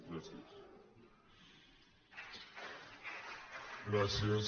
gràcies